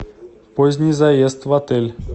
поздний заезд в отель